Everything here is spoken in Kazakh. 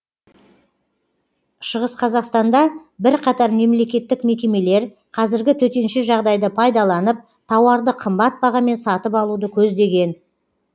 шығыс қазақстанда бірқатар мемлекеттік мекемелер қазіргі төтенше жағдайды пайдаланып тауарды қымбат бағамен сатып алуды көздеген